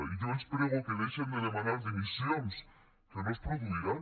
i jo els prego que deixin de demanar dimissions que no es produiran